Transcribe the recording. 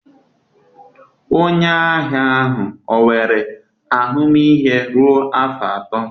Onye ahịa ahụ ọ nwere ahụmịhe ruo afọ atọ?